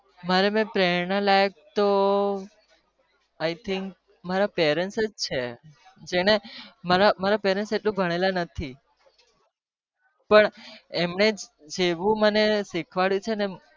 મારે મેં પ્રેરણા લાયક તો છે એમના થી હું બધું સીખું